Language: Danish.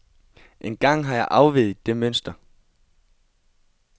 En gang har jeg afveget det mønster.